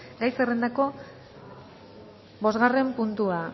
gai zerrendako bosgarren puntua